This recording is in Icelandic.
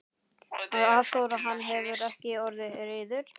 Hafþór: Hann hefur ekki orðið reiður?